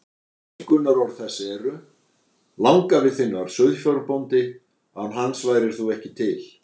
Einkunnarorð þess eru: Langafi þinn var sauðfjárbóndi, án hans værir þú ekki til.